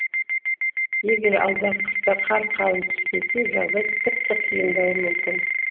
егер алдағы қыста қар қалың түспесе жағдай тіпті қиындауы мүмкін